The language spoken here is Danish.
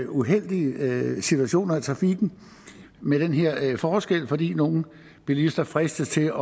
uheldige situationer i trafikken med den her forskel fordi nogle bilister fristes til